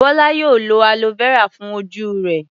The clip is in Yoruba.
Bọ́lá yóò lo aloe vera fún ojú rẹ̀.